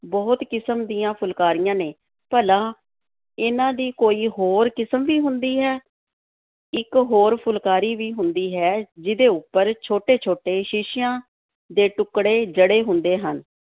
ਬਹੁਤ ਕਿਸਮ ਦੀਆਂ ਫੁਲਕਾਰੀਆਂ ਨੇ ਭਲਾ, ਇਹਨਾਂ ਦੀ ਕੋਈ ਹੋਰ ਕਿਸਮ ਵੀ ਹੁੰਦੀ ਹੈ, ਇੱਕ ਹੋਰ ਫੁਲਕਾਰੀ ਵੀ ਹੁੰਦੀ ਹੈ ਜਿਹਦੇ ਉੱਪਰ ਛੋਟੇ-ਛੋਟੇ ਸ਼ੀਸ਼ਿਆਂ ਦੇ ਟੁੱਕੜੇ ਜੜੇ ਹੁੰਦੇ ਹਨ।